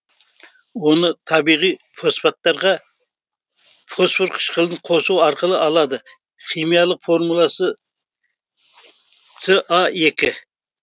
оны табиғи фосфаттарға фосфор қышқылын қосу арқылы алады химиялық формуласы са